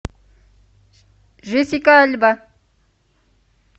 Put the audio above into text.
джессика альба